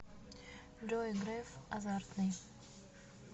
джой греф азартный